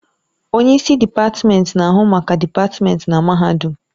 Onye isi dịpatmenti na-ahụ maka dịpatmenti na mahadum.